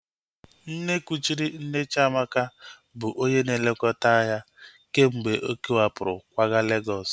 Nne kuchiri nne Chiamaka bụ onye na-elekọta ya kemgbe ọ kewapụrụ kwaga Legọs